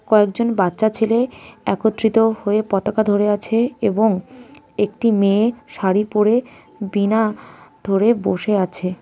কয়েকজন বাচ্চা ছেলে একত্রিত হয়ে পতাকা ধরে আছে এবং একটি মেয়ে শাড়ি পড়ে বীণা ধরে বসে আছে.